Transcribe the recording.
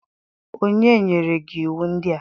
onye nyere gi uwe ndia?